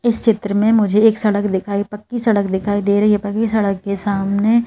इस चित्र में मुझे एक सड़क दिखाई पक्की सड़क दिखाई दे रही है पक्की सड़क के सामने--